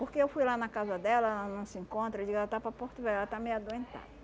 Porque eu fui lá na casa dela, ela não se encontra, eu digo ela está para Porto Velho, ela está meio adoentada.